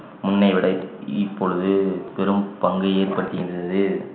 முன்னை விட இப்~ இப்பொழுது பெரும் பங்கு ஏற்பட்டிருக்கிறது